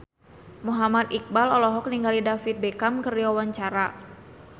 Muhammad Iqbal olohok ningali David Beckham keur diwawancara